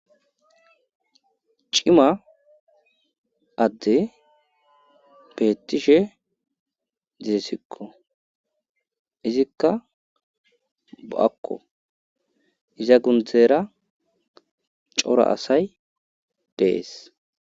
Cima adde beettishe dizesikko izikka bo'akko iza gundzera cora asay dees.